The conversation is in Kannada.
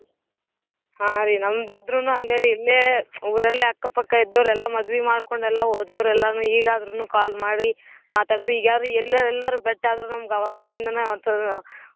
ಹಾರೀ ನಮ್ದ್ ಆದ್ರನು ಹಂಗ ರೀ ಇಲ್ಲೇ ಊರಲ್ಲೇ ಅಕ್ಕ ಪಕ್ಕ ಇದ್ದೋರೆಲ್ಲಾ ಮದ್ವಿ ಮಾಡ್ಕೊಂಡ್ ಹೋದೊರ್ರೆಲ್ಲನು ಈಗಾದ್ರೂನೂ call ಮಾಡಿ ಮಾತಾಡ್ಸಿ ಈಗ್ ಯ್ಯಾರು ಎಲ್ಲರ್ ಎಲ್ಲರ್ ಬೇಟ್ಯಾದ್ರ ನಮ್ಗ್ ಅವಾಗಿಂದ್ನ .